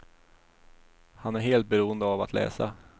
Han är helt beroende av att läsa.